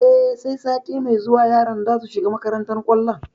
E, sai sati mai zuwa yaran za su shiga makantar kwallon.